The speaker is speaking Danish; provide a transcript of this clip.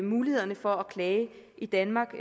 mulighederne for at klage i danmark